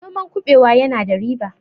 noman kubewa yana da riba